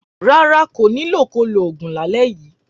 Rárá, kò ní lò ko lo òògùn lálẹ yíi.